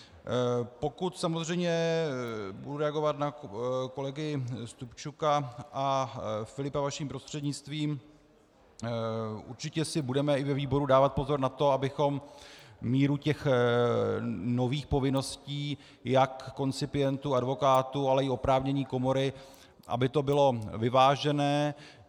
Pokud samozřejmě budu reagovat na kolegy Stupčuka a Filipa, vaším prostřednictvím, určitě si budeme i ve výboru dávat pozor na to, abychom míru těch nových povinností jak koncipientů, advokátů, ale i oprávnění komory, aby to bylo vyvážené.